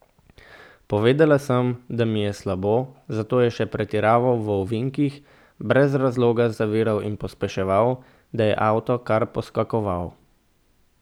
Povedala sem, da mi je slabo, zato je še pretiraval v ovinkih, brez razloga zaviral in pospeševal, da je avto kar poskakoval.